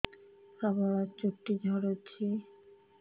ପ୍ରବଳ ଚୁଟି ଝଡୁଛି